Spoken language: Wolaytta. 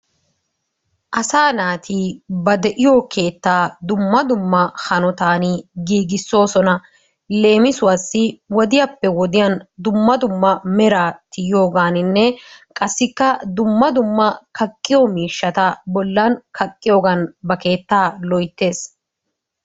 Asaa naati ba de'iyo keettaa dumma dumma hanotaan giigisoosona. leemisuwassi wodiyappe wodiyaan dumma dumma meraa tiyyiyooganinne qassikka dumma dumma kaqqiyoo miishshata bollan kaqqiyoogan ba keettaa loyttees.